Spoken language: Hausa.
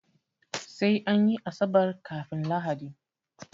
Sai anyi asabar kafun lahadi